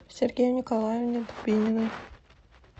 сергею николаевне дубининой